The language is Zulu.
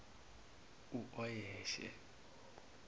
uoyeshe